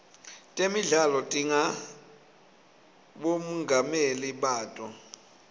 temidlalo tinabomongameli bato